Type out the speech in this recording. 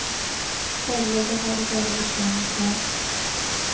Foreløpig har de bare visjonen klar.